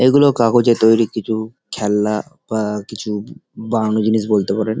এইগুলো কাগজের তৈরি কিছু খেলনা বা কিছু বানানো জিনিস বলতে পারেন।